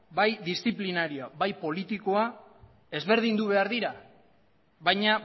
bai disziplinario bai politikoa ezberdindu behar dira baina